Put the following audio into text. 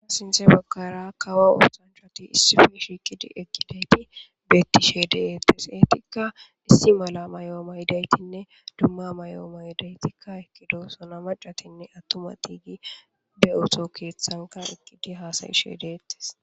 sinthe baggara kawa oosanchati issife shiiqidi ekideyti bettishe deettes eetikka issi mala mayoo mayidaytinne dumma may7o7o maydaytikka ekkido sona macatinne attumati gi be oto keeththanka iqqidi haasayishe deettes